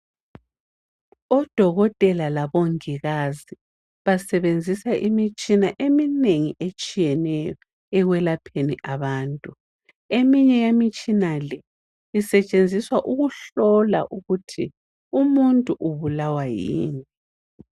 Odokotela labongikazi basebenzisa imitshina eminengi etshiyeneyo ekwelapheni abantu. Eminye yemitshina le isetshenziswa ukuhlola ukuthi umuntu ubulawa yini.